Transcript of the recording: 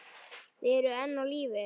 Þið eruð enn á lífi!